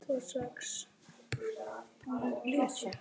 Að svipta sig lífi er auðvelt.